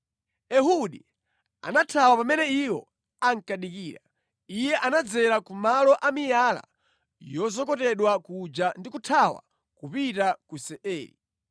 Ehudi anathawa pamene iwo ankadikira. Iye anadzera ku malo a miyala yozokotedwa kuja ndi kuthawa kupita ku Seiri.